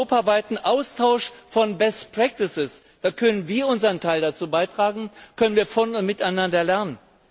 Durch den europaweiten Austausch von best practices können wir unseren Teil dazu beitragen, können wir von und miteinander lernen.